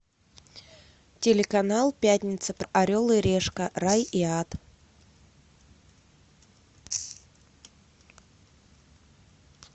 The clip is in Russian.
телеканал пятница орел и решка рай и ад